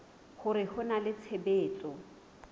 hore ho na le tshebetso